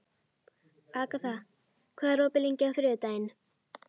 Agata, hvað er opið lengi á þriðjudaginn?